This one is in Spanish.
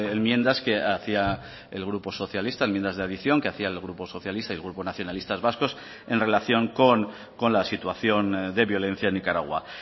enmiendas que hacía el grupo socialista enmiendas de adición que hacía el grupo socialista y el grupo nacionalistas vascos en relación con la situación de violencia en nicaragua